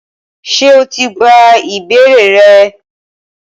Ṣé o ti gba ìbéèrè rẹ?